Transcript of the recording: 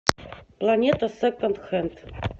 планета секонд хенд